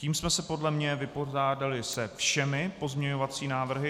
Tím jsme se podle mne vypořádali se všemi pozměňovacími návrhy.